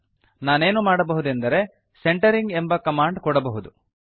ನಾನೇನು ಮಾಡಬಹುದೆಂದರೆ ಸೆಂಟರಿಂಗ್ ಎಂಬ ಕಮಾಂಡ್ ಕೊಡಬಹುದು